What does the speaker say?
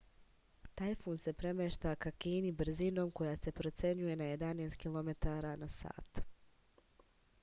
tajfun se premešta ka kini brzinom koja se procenjuje na 11 km/h